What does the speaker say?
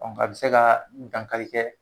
a be se ka dankari kɛ